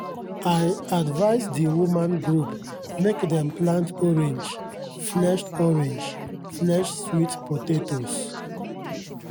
i advise di women group mek dem plant orange-fleshed orange-fleshed sweet potatoes